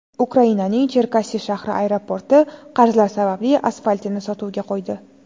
Ukrainaning Cherkassi shahri aeroporti qarzlar sababli asfaltini sotuvga qo‘ydi.